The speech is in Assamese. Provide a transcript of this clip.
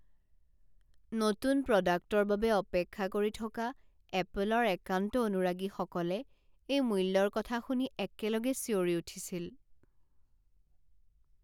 নতুন প্ৰডাক্টৰ বাবে অপেক্ষা কৰি থকা এপলৰ একান্ত অনুৰাগীসকলে এই মূল্যৰ কথা শুনি একেলগে চিঞৰি উঠিছিল।